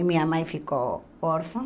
E minha mãe ficou órfã.